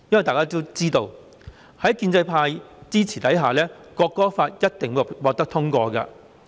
大家都知道，在建制派支持下，《條例草案》一定會獲得通過。